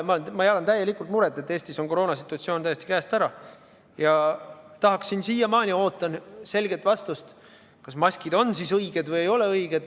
Ma jagan täielikult seda muret, et Eestis on koroonasituatsioon täiesti käest ära, ja siiamaani ootan selget vastust, kas maskikohustus on õige või ei ole õige.